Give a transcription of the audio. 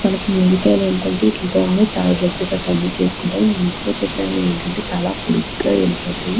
మనకి ముంజికాయలు ఏంటంటే ఈట్లతో అన్నీ తాడి రొట్ట్లు గట్రా అన్ని చేసుకుంటారు ఈ ముంజికాయ చెట్లు అనేవి ఏంటంటే చాలా పొడ్డుగా ఏళ్ళిపోతాయి.